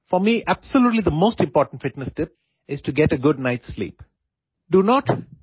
মোৰ বাবে আটাইতকৈ গুৰুত্বপূৰ্ণ আৰু উত্তম ফিটনেছ টিপছটো হল ৰাতি ভালদৰে টোপনি মৰা